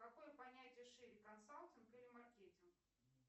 какое понятие шире консалтинг или маркетинг